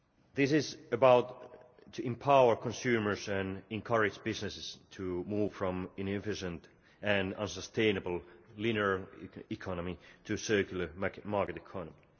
This is about empowering consumers and encouraging businesses to move from an inefficient and unsustainable linear economy to a circular market economy.